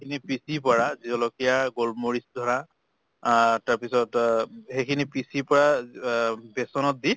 খিনি পিচি বৰা জলকীয়া গোল মৰিচ ধৰা আহ তাৰ পিছত অহ সেই খিনি পিচি পৰা আহ বেচনত দি